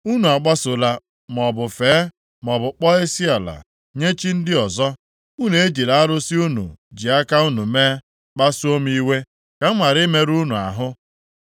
Unu agbasola maọbụ fee, maọbụ kpọọ isiala nye chi ndị ọzọ; unu ejila arụsị unu ji aka unu mee kpasuo m iwe, ka m ghara imerụ unu ahụ.